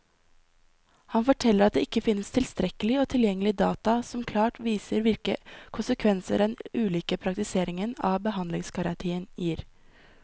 Han forteller at det ikke finnes tilstrekkelig og tilgjengelig data som klart viser hvilke konsekvenser den ulike praktiseringen av behandlingsgarantien gir.